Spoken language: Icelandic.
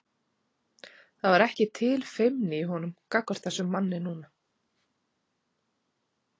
Það var ekki til feimni í honum gagnvart þessum manni núna.